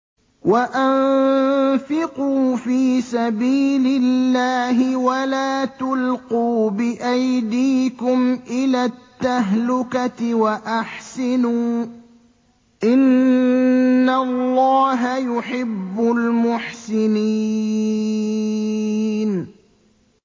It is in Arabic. وَأَنفِقُوا فِي سَبِيلِ اللَّهِ وَلَا تُلْقُوا بِأَيْدِيكُمْ إِلَى التَّهْلُكَةِ ۛ وَأَحْسِنُوا ۛ إِنَّ اللَّهَ يُحِبُّ الْمُحْسِنِينَ